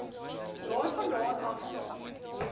daarvandaan af saam